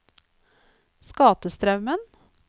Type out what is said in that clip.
Skatestraumen